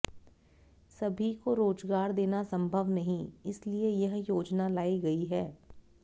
सभी को रोजगार देना संभव नहीं इसलिए यह योजना लाई गई है